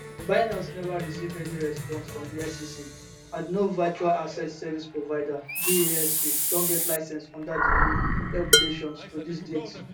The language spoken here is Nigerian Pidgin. binance neva receive any response from di sec and no virtual asset service provider vasp don get license under di new regulations to dis date